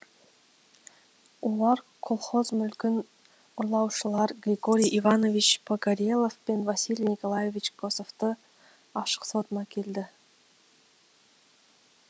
олар колхоз мүлкін ұрлаушылар григорий иванович погорелов пен василий николаевич косовты ашық сотына әкелді